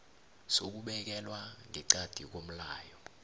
sokubekelwa ngeqadi komlayo